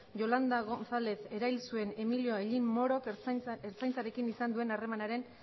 yolanda gonzález erail zuen emilio hellín morok ertzaintzarekin izan duen harremanaren